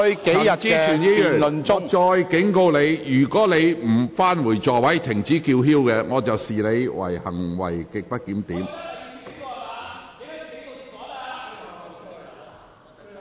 陳議員，我再次警告你，如果你拒絕返回座位及停止叫喊，我會視之為行為極不檢點。